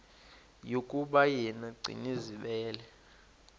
yokuba yena gcinizibele